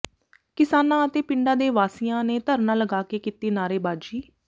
ਕਿਸਾਨਾਂ ਅਤੇ ਪਿੰਡਾਂ ਦੇ ਵਾਸੀਆਂ ਨੇ ਧਰਨਾ ਲਗਾਕੇ ਕੀਤੀ ਨਾਅਰੇਬਾਜੀ